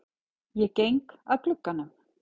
Ég geng að glugganum.